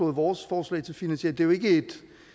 vores forslag til finansiering jo ikke